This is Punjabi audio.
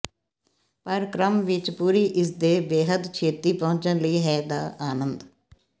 ਪਰ ਕ੍ਰਮ ਵਿੱਚ ਪੂਰੀ ਇਸ ਦੇ ਬੇਹੱਦ ਛੇਤੀ ਪਹੁੰਚਣ ਲਈ ਹੈ ਦਾ ਆਨੰਦ